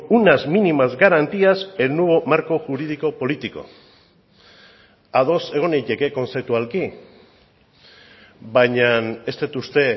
unas mínimas garantías el nuevo marco jurídico político ados egon naiteke kontzeptualki baina ez dut uste